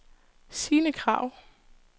Sine Krag